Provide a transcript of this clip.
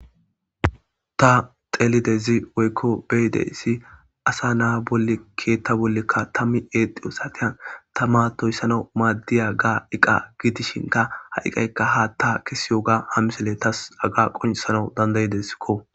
ta xelidezi woykko beyide issi asa naa bolle keetta bollekka tammi eexi osatiyan ta maatoyssana maaddiya ga7iqa giidishinka ha7iqaykka haa ta kesi yoga hamisele tas aga qonsana dandayideskko